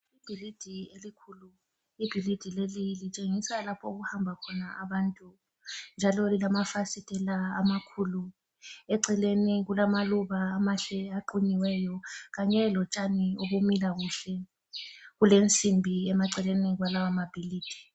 Ibhilidi elikhulu, ibhilidi leli litshengisa lapho okuhamba khona abantu njalo lamafasitela amakhulu, eceleni kulamaluba amahle aqunyiweyo kanye lotshani obumila kuhle, kulenzimbi emaceleni kwalawo mabhilidi.